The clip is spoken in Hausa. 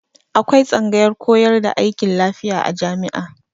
Akwai tsangayar koyar da aikin lafiya a jami'a.